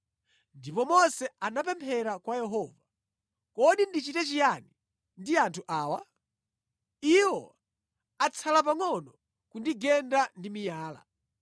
Ndipo Mose anapemphera kwa Yehova, “Kodi ndichite chiyani ndi anthu awa? Iwo atsala pangʼono kundigenda ndi miyala.”